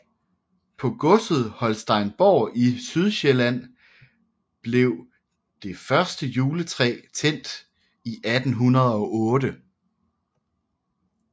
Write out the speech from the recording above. På godset Holsteinborg i Sydsjælland blev det første juletræ tændt i 1808